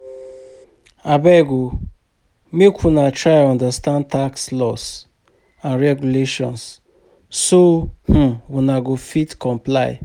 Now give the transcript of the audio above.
Abeg o make una try understand tax laws and regulations so um una go fit comply.